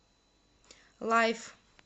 лайф